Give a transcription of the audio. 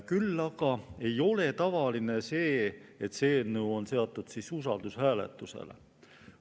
Küll aga ei ole tavaline see, et see eelnõu on usaldushääletusele.